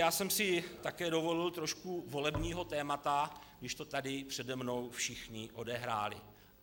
Já jsem si také dovolil trošku volebního tématu, když to tady přede mnou všichni odehráli.